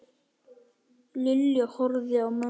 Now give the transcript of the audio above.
Lilla horfði á mömmu.